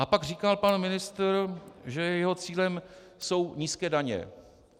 A pak říkal pan ministr, že jeho cílem jsou nízké daně.